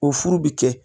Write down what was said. O furu bi kɛ